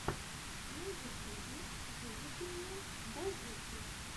на ютьюбе выведи мне дазуки